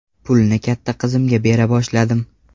Pulni katta qizimga bera boshladim.